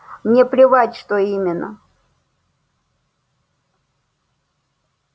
мне плевать что именно